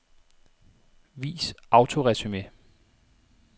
Vis autoresumé.